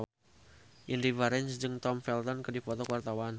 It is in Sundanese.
Indy Barens jeung Tom Felton keur dipoto ku wartawan